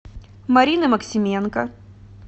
марины максименко